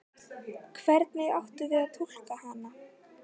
Hvernig áttum við að túlka hana?